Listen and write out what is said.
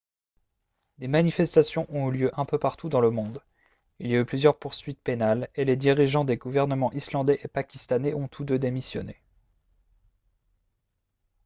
des manifestations ont eu lieu un peu partout dans le monde il y a eu plusieurs poursuites pénales et les dirigeants des gouvernements islandais et pakistanais ont tous deux démissionné